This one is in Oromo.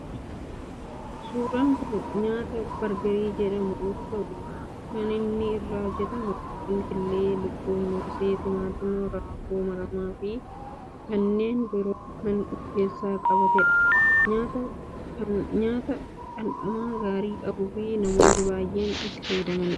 Suuraan kun nyaata bargarii jedhamu yoo ta'u kan inni irraa hojjetamu, foon, killee lukkuu, moosee, timaatima, raafuu maramaa fi kanneen biroo kan of keessatti qabateedha. Nyaata dhandhama gaarii qabu fi namoonni baayyeen kan fayyadamuudha.